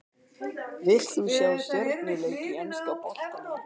Vilt þú sjá stjörnuleik í enska boltanum?